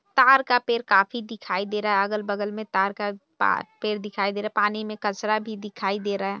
तार का पेड़ काफी दिखाई दे रहा है अगल-बगल में तार का पा पेड़ दिखाई दे रहा है पानी में कचरा भी दिखाई दे रहा है।